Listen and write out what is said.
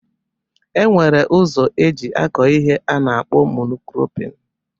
E nwere ụzọ eji akọ ihe a na-akpọ Mono-krọpin